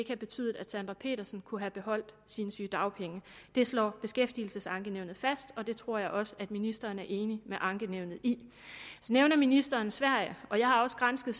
have betydet at sandra petersen kunne have beholdt sine sygedagpenge det slår beskæftigelsesankenævnet fast og det tror jeg også at ministeren er enig med ankenævnet i så nævner ministeren sverige og jeg har også gransket